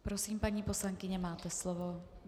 Prosím, paní poslankyně, máte slovo.